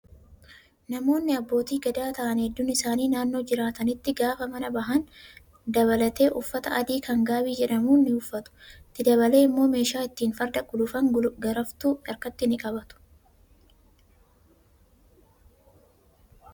Namoonni abbootii gadaa ta'an heddun isaanii naannoo jiraatanitti gaafa manaa bahan dabalatee uffata adii kan gaabii jedhamu ni uffatu. Itti dabalee immoo meeshaa ittiin farda gulufan garaftuu harkatti ni qabatu.